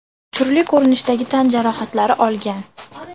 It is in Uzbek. turli ko‘rinishdagi tan jarohatlari olgan.